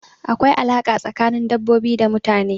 Akwai alaƙa tsakanin dabbobi da mutane.